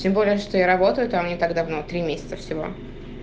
тем более что я работаю там не так давно три месяца всего